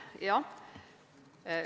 Jah.